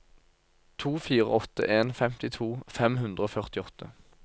to fire åtte en femtito fem hundre og førtiåtte